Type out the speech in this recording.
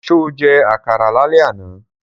Sọ jẹ́ àkàrà lálẹ́ àná?